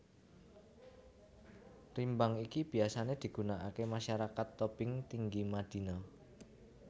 Rimbang iki biyasané digunakaké masyarakat Tobing Tinggi Madina